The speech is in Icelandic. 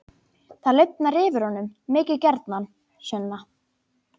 Það lifnar yfir honum: Mikið gjarnan, Sunna.